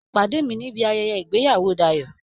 Pàdé mi nibi ayẹyẹ ìgbéyàwó Dayọ̀!